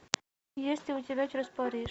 есть ли у тебя через париж